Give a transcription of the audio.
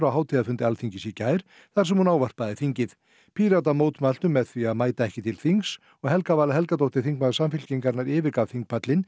á hátíðarfundi Alþingis í gær þar sem hún ávarpaði þingið Píratar mótmæltu með því að mæta ekki til þings og Helga Vala Helgadóttir þingmaður Samfylkingarinnar yfirgaf